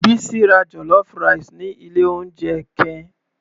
Bisi ra jollof rice ni ilé oúnjẹ ken.